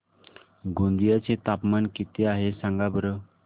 गोंदिया चे तापमान किती आहे सांगा बरं